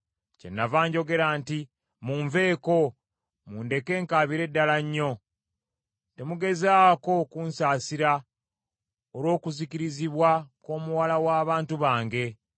Kyenava njogera nti, “Munveeko, mundeke nkaabire ddala nnyo. Temugezaako kunsaasira olw’okuzikirizibwa kw’omuwala w’abantu bange.”